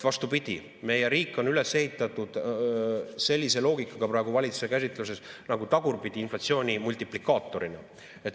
Vastupidi, meie riik on praegu valitsuse käsitluses üles ehitatud sellise loogikaga nagu tagurpidi inflatsiooni multiplikaator.